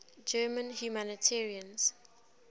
german humanitarians